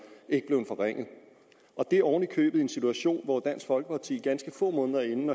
ikke blevet forringet og det oven i købet i en situation hvor dansk folkeparti ganske få måneder inden